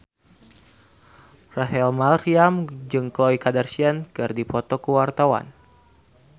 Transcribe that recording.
Rachel Maryam jeung Khloe Kardashian keur dipoto ku wartawan